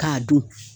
K'a dun